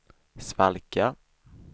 svalka